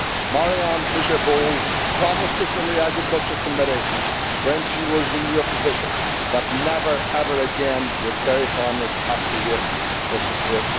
Mariann Fischer Boel promised us in the AGRI Committee, when she was in your position, that never ever again would dairy farmers have to wait so long for support.